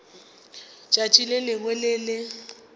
tšatši le lengwe le le